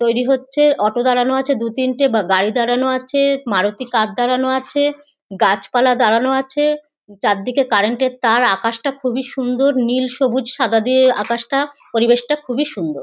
তৈরি হচ্ছে। অটো দাঁড়ানো আছে দু তিনটে বা গাড়ি দাঁড়ানো আছে মারুতি কার দাঁড়ানো আছে গাছপালা দাঁড়ানো আছে চারদিকে কারেন্ট -এর তার। আকাশটা খুব সুন্দর। নীল সবুজ সাদা দিয়ে আকাশটা। পরিবেশটা খুব সুন্দর।